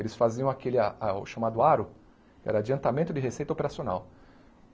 Eles faziam aquele a a o chamado aro, que era o adiantamento de receita operacional.